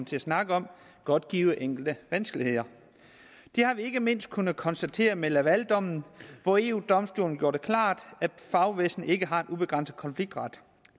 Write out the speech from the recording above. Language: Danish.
til at snakke om godt give enkelte vanskeligheder det har vi ikke mindst kunne konstatere med lavaldommen hvori eu domstolen gjorde det klart at fagbevægelsen ikke har en ubegrænset konfliktret